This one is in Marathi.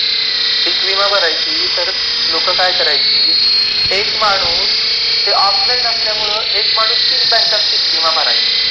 विमा भरायची तर लोकं काय करायची? एक माणूस ते ऑफलाइन असल्यामुळे 1 माणूस ३ बँकांत 1विमा भरायची.